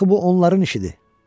Axı bu onların işidir.